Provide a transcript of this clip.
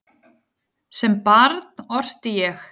Sem barn orti ég.